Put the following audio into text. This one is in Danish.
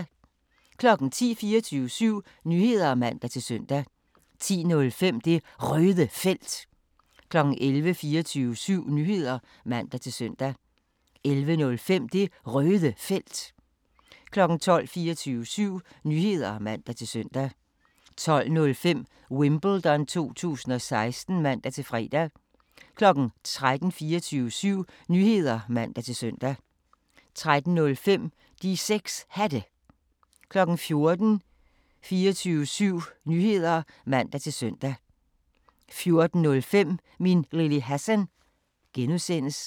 10:00: 24syv Nyheder (man-søn) 10:05: Det Røde Felt 11:00: 24syv Nyheder (man-søn) 11:05: Det Røde Felt 12:00: 24syv Nyheder (man-søn) 12:05: Wimbledon 2016 (man-fre) 13:00: 24syv Nyheder (man-søn) 13:05: De 6 Hatte 14:00: 24syv Nyheder (man-søn) 14:05: Min Lille Hassan (G)